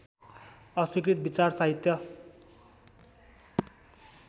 अस्वीकृत विचार साहित्य